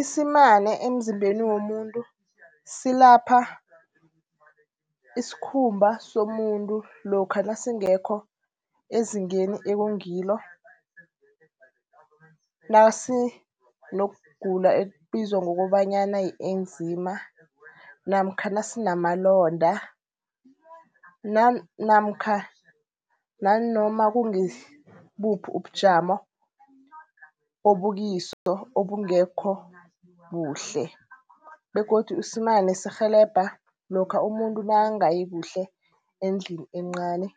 Isimane emzimbeni womuntu silapha isikhumba somuntu lokha nasingekho ezingeni ekungilo. Nasinokugula ekubizwa ngokobanyana yi-eczema namkha nasinamalonda namkha nanoma kungibuphi ubujamo obukiso obungekho kuhle. Begodu isimane sirhelebha lokha umuntu nakangayi kuhle endlini encani